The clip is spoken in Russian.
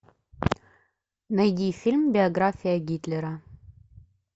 найди фильм биография гитлера